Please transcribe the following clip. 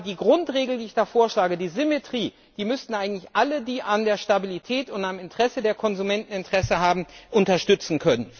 Aber die Grundregel, die ich vorschlage, die Symmetrie, die müssten eigentlich alle, die an der Stabilität und am Interesse der Konsumenten Interesse haben, unterstützen können.